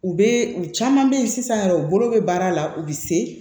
U bɛ u caman bɛ yen sisan yɛrɛ u bolo bɛ baara la u bɛ se